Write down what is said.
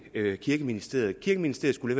klæder kirkeministeriet kirkeministeriet skulle